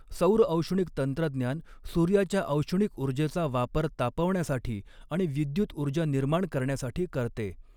सौरऔष्णिक तंत्रज्ञान सूर्याच्या औष्णिक ऊर्जेचा वापर तापवण्यासाठी आणि विद्युत ऊर्जा निर्माण करण्यासाठी करते.